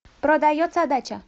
продается дача